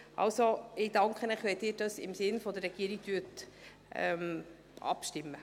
Ich danke Ihnen, wenn Sie im Sinne der Regierung abstimmen.